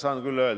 Aitäh!